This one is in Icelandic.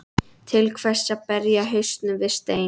Til hvers að berja hausnum við stein?